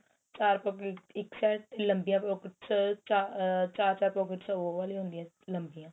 ਚਾਰ pocket ਇੱਕ side ਤੇ ਲੰਬੀਆਂ pockets ਚਾਰ ਚਾਰ ਚਾਰ pockets ਉਹ ਵਾਲੀਆਂ ਹੁੰਦੀਆਂ ਲੰਬੀਆਂ